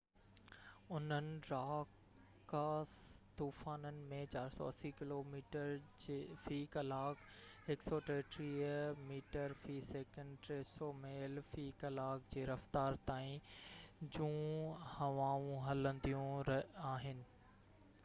انهن راڪاس طوفانن ۾ 480 ڪلو ميٽر في ڪلاڪ 133 ميٽر في سيڪنڊ؛ 300 ميل في ڪلاڪ جي رفتار تائين جون هوائون هلنديون آهن